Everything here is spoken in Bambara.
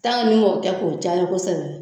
Tan que n'i kɛ k'o cali kosɛbɛ